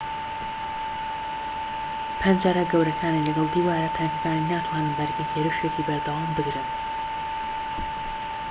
پەنجەرە گەورەکانی لەگەڵ دیوارە تەنکەکانی ناتوانن بەرگەی هێرشێکی بەردەوام بگرن